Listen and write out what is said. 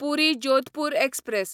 पुरी Jodhpur express